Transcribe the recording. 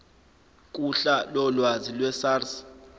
kuhla lolwazi lwesars